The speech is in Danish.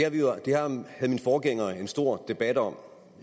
havde min forgænger en stor debat om